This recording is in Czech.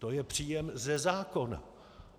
To je příjem ze zákona.